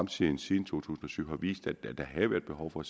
tiden siden to tusind og syv har vist at der havde været behov for at